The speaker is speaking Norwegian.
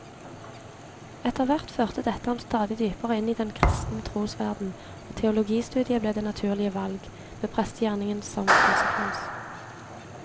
Etterhvert førte dette ham stadig dypere inn i den kristne trosverden, og teologistudiet ble det naturlige valg, med prestegjerningen som konsekvens.